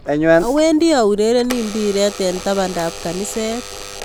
Awendi aurereni mpiret eng tabandab kaniset